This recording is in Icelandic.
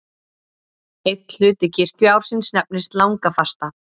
Einn hluti kirkjuársins nefnist langafasta.